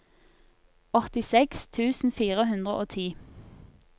åttiseks tusen fire hundre og ti